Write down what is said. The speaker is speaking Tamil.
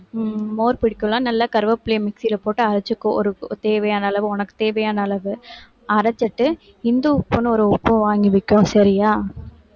உம் மோர் புடிக்கும்ல நல்லா கறிவேப்பிலையை mixie ல போட்டு அரைச்சுக்கோ ஒரு ஒரு தேவையான அளவு உனக்கு தேவையான அளவு அரைச்சுட்டு இந்து உப்புன்னு ஒரு உப்பு வாங்கிக்கோ சரியா